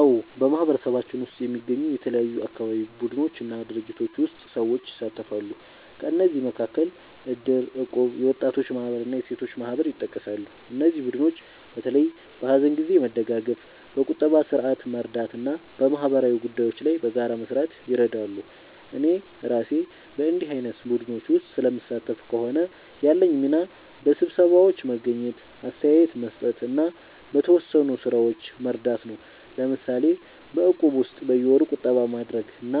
አዎ፣ በማህበረሰባችን ውስጥ የሚገኙ የተለያዩ አካባቢ ቡድኖች እና ድርጅቶች ውስጥ ሰዎች ይሳተፋሉ። ከእነዚህ መካከል እድር፣ እቁብ፣ የወጣቶች ማህበር እና የሴቶች ማህበር ይጠቀሳሉ። እነዚህ ቡድኖች በተለይ በሀዘን ጊዜ መደጋገፍ፣ በቁጠባ ስርዓት መርዳት እና በማህበራዊ ጉዳዮች ላይ በጋራ መስራት ይረዳሉ። እኔ እራሴ በእንዲህ ዓይነት ቡድኖች ውስጥ ስለምሳተፍ ከሆነ፣ ያለኝ ሚና በስብሰባዎች መገኘት፣ አስተያየት መስጠት እና በተወሰኑ ሥራዎች መርዳት ነው። ለምሳሌ በእቁብ ውስጥ በየወሩ ቁጠባ ማድረግ እና